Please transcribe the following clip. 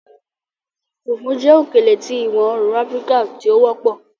Fùfú jẹ́ òkèlè tí ìwọ-oòrùn Áfíríkà tí ó wọpọ̀